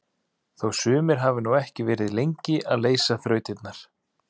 Þó sumir hafi nú ekki verið lengi að leysa þrautirnar!